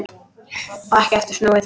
Og ekki aftur snúið.